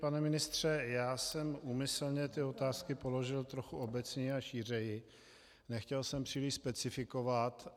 Pane ministře, já jsem úmyslně ty otázky položil trochu obecněji a šířeji, nechtěl jsem příliš specifikovat.